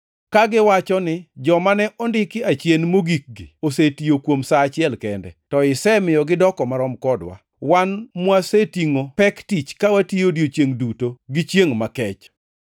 kagiwacho ni, ‘Joma ne ondiki achien mogikgi osetiyo kuom sa achiel kende, to isemiyo gidoko marom kodwa, wan mwasetingʼo pek tich ka watiyo odiechiengʼ duto gi chiengʼ makech.’